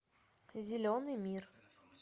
зеленый мир